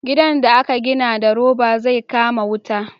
gidan da a ka gina da roba zai kama wuta